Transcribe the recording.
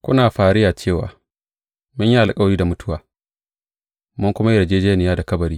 Kuna fariya cewa, Mun yi alkawari da mutuwa, mun kuma yi yarjejjeniya da kabari.